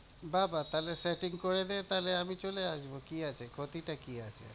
বাহ্, বাহ্ তাহলে setting করে দে, তাহলে আমি চলে আসবো, কি আছে ক্ষতিটা কি আছে?